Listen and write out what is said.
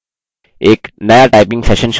start new session पर click करें